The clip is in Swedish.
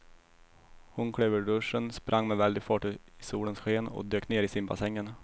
Hon klev ur duschen, sprang med väldig fart ut i solens sken och dök ner i simbassängen.